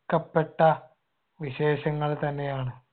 ക്കപ്പെട്ട വിശേഷങ്ങൾ തന്നെയാണ്.